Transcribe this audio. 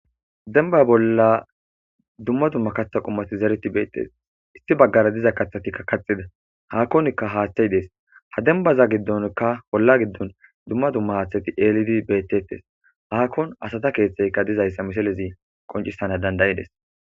Denba bolla dumma dumma katha qummati zereti beettes issi baggara diza katthatikka kaxida haakkonkka haaththayi dees ha dembaza giddonka bolla giddon dumma dumma haaththati eelidi beettettes haakkon asata keeththeyka dizayssa miselezi qoncissana dandayides.